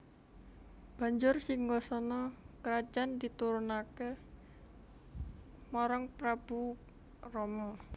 Banjur singgasana krajan diturunaké marang Prabu Rama